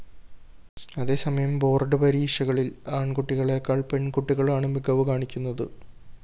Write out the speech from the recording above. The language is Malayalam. അതേസമയം ബോർഡ്‌ പരീക്ഷകളില്‍ ആണ്‍കുട്ടികളെക്കാള്‍ പെണ്‍കുട്ടികളാണ് മികവ് കാണിക്കുന്നത്